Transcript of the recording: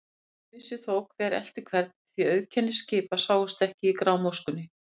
Enginn vissi þó, hver elti hvern, því að auðkenni skipa sáust ekki í grámóskunni.